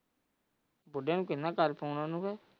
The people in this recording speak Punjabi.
ਨੂੰ ਕਿੰਨਾਂ ਕਰ ਫ਼ੋਨ ਉਹਨੂੰ।